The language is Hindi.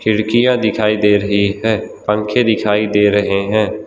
खिड़कियां दिखाई दे रही है पंखे दिखाई दे रहे हैं।